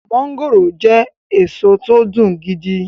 mọ́ngòròjẹ́ èso tó dùn gidi e